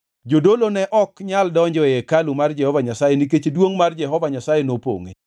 Jodolo ne ok nyal donjo e hekalu mar Jehova Nyasaye nikech duongʼ mar Jehova Nyasaye nopongʼe.